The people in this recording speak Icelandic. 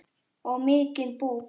Og mikinn búk.